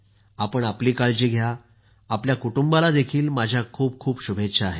आपण आपली काळजी घ्या आपल्या कुटुंबालाही माझ्या खूप खूप शुभेच्छा आहेत